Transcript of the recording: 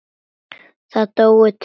Það dóu tveir.